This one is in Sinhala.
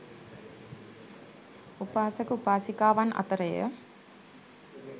උපාසක උපාසිකාවන් අතර ය.